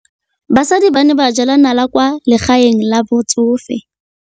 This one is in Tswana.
Basadi ba ne ba jela nala kwaa legaeng la batsofe.